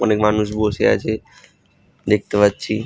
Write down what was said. অনেক মানুষ বসে আছে দেখতে পাচ্ছি।